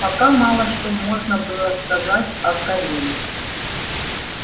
пока мало что можно было сказать о кореле